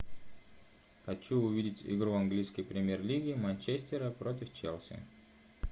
хочу увидеть игру английской премьер лиги манчестера против челси